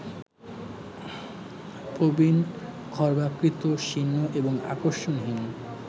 প্রবীণ, খর্বাকৃতি, শীর্ণ, এবং আকর্ষণহীন